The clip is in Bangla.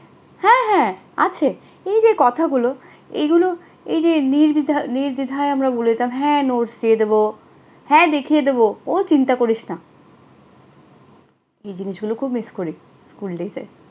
হ্যাঁ হ্যাঁ আছে। এই যে কথাগুলো, এগুলো এই যে নির্দ্বিধা নির্দ্বিধায় আমরা বলে দিতাম, হ্যাঁ notes দিয়ে দেবো, হ্যাঁ দেখিয়ে দেবো ও চিন্তা করিস না। এই জিনিসগুলো খুব miss করি। school days এর।